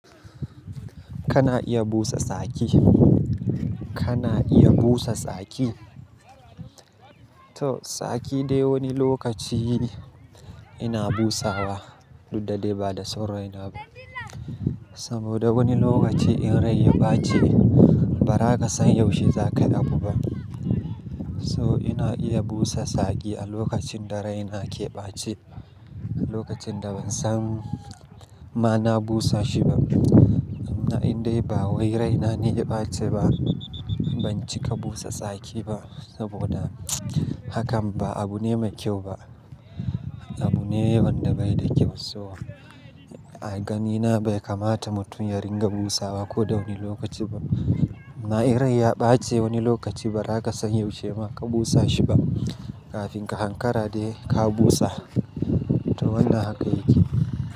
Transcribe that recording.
Kana iya busa tsaki. Kana iya busa saki. To tsaki dai wani lokaci ina busawa, duk da dai ba da son rai na ba. Saboda wani lokaci in rai ya ɓace ba za ka san yaushe za ka yi abu ba. So ina iya busa saki a lokacin da rai na ke ɓace. A lokacin da ban san ma na busa shi ba. Na'in dai ba wai rai na ne ya ɓace ba ban cika busa tsaki ba saboda hakan ba abu ne mai kyau ba. Abu ne wanda bai da kyau. So a gani na bai kamata mutum yaringa busawa ko da wani lokaci ba. Na'in rai ya ɓace wani lokaci ba haka san yaushe ma ka busa shi ba kafin ka hankara dai ka busa. To wannan haka yake.